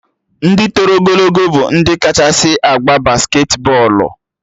Ndị toro ogologo bụ ndị kachasị agba basketi bọọlụ